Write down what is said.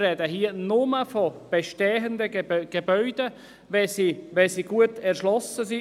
Wir sprechen hier also ausschliesslich von bestehenden Gebäuden, wenn sie gut erschlossen sind.